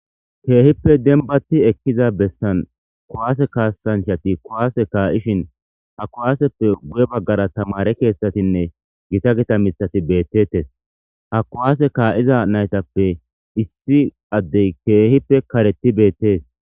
keehippe denibati ekkiza bessan kuwaase kaassanchati kuwaase kaa7ishin ha kuwaaseppe guye baggara tamare kethatinne gita gita mithati beettettes ha kuwaase kaa7iza naytappe issi addey keehippe kareti beettes